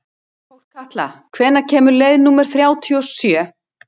Þórkatla, hvenær kemur leið númer þrjátíu og sjö?